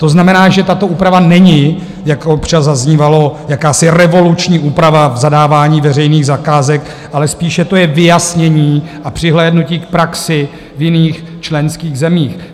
To znamená, že tato úprava není, jak občas zaznívalo, jakási revoluční úprava v zadávání veřejných zakázek, ale spíše to je vyjasnění a přihlédnutí k praxi v jiných členských zemích.